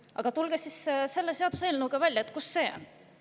Aga tulge siis välja selle seaduseelnõuga, kus see on.